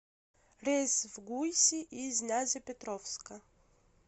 рейс в гуйси из нязепетровска